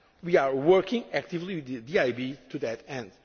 to finance. We are working actively with the